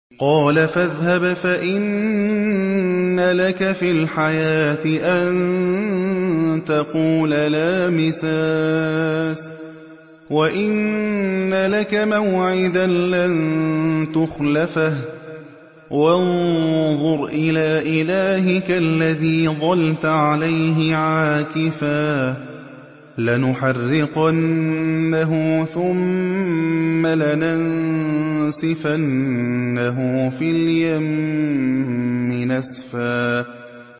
قَالَ فَاذْهَبْ فَإِنَّ لَكَ فِي الْحَيَاةِ أَن تَقُولَ لَا مِسَاسَ ۖ وَإِنَّ لَكَ مَوْعِدًا لَّن تُخْلَفَهُ ۖ وَانظُرْ إِلَىٰ إِلَٰهِكَ الَّذِي ظَلْتَ عَلَيْهِ عَاكِفًا ۖ لَّنُحَرِّقَنَّهُ ثُمَّ لَنَنسِفَنَّهُ فِي الْيَمِّ نَسْفًا